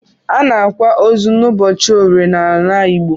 Anaakwa osu na ụbọchi orie na ala igbo.